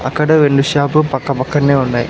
అక్కడ రెండు షాపు పక్కపక్కనే ఉన్నాయి.